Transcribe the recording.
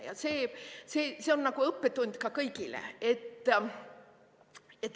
Ja see on õppetund kõigile.